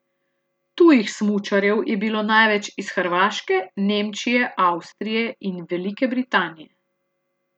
Tujih smučarjev je bilo največ iz Hrvaške, Nemčije, Avstrije in Velike Britanije.